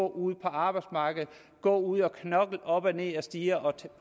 ude på arbejdsmarkedet gå ude og knokle op og ned ad stiger og